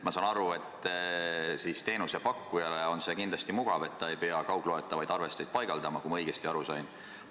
Ma saan aru, et teenusepakkujale on see kindlasti mugav, et ta ei pea kaugloetavaid arvesteid paigaldama, kui ma õigesti aru sain.